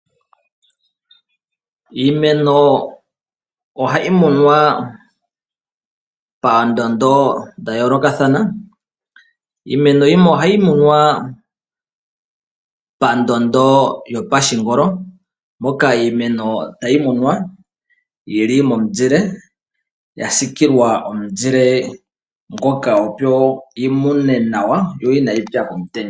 Iimeno ohayimunwa pandondo dhayoloka thana , iimeno yimwe ohayimunwa pandondo yopashingolo moka iimeno tayimunwa yili momuzile yasikilwa omuzile ngoka opo yimune nawa yo inayitsa komutenya.